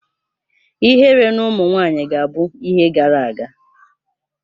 Ihere na ụmụ nwanyị ga-abụ ihe gara aga